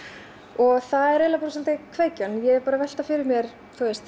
og það er eiginlega bara svolítið kveikjan ég er bara að velta fyrir mér